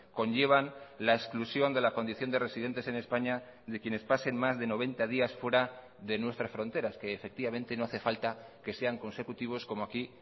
conllevan la exclusión de la condición de residentes en españa de quienes pasen más de noventa días fuera de nuestras fronteras que efectivamente no hace falta que sean consecutivos como aquí